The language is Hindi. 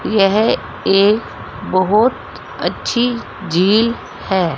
यह एक बहोत अच्छी झील है।